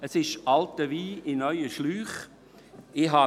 Man hat hier alten Wein in neue Schläuche gegossen.